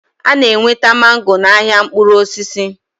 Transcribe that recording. Ana enweta mango na ahịa mkpụrụ osisi